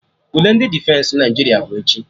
Ule ndị Defensị Naịjirịa bụ echi